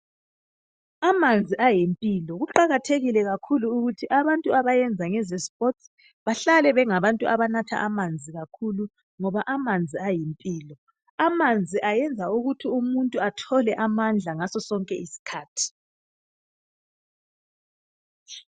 Amanzi ayimpilo. Kuqakathekile kakhulu ukuthi abantu abayenza ngeze sports bahlale bengabantu abanatha amanzi kakhulu ngoba amanzi ayimpilo. Amanzi ayenza ukuthi umuntu athole amandla ngaso sonke isikhathi.